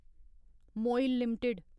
मोइल limited